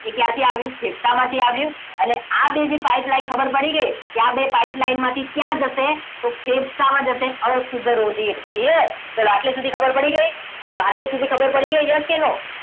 એ ક્યાંથી આવ્યું ફેફસા માંથી આવ્યું અને આ બે જે pipeline ખબર પડી ગઈ કે આ બે pipeline માંથી ક્યાં જશે તો ફેફસામાં જશે અશુદ્ધ રુધિર clear ચલો આટલે સુધી ખબર પડી ગઈ ચલો આટલે સુધી ખબર પડી ગઈ yes કે no